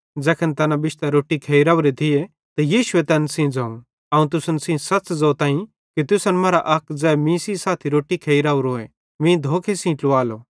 ज़ैखन तैना बिश्तां रोट्टी खेइ राओरे थिये त यीशुए तैन सेइं ज़ोवं अवं तुसन सेइं सच़ ज़ोतईं कि तुसन मरां अक ज़ै मीं सेइं साथी रोट्टी खेइ राओरोए मीं धोखे सेइं ट्लुवालो